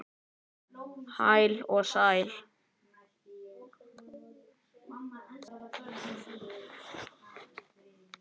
spurði mamma allt í einu.